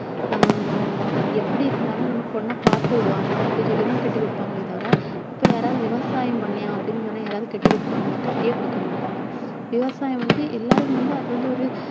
ஹம் எப்படி இருந்தாலும் நம்ம பொண்ணை பாத்துக்கிடுவானா அப்படி சொல்லிதான் கட்டி கொடுப்பாங்களே தவிர இப்போ யாராவது விவசாயம் பண்றான் அப்படின்னு சொன்னா யாராவது கட்டி கொடுப்பாங்களா கட்டியே கொடுக்கமாட்டாங்க விவசாயம் வந்து, எல்லாருக்கும் வந்து அது வந்து ஒரு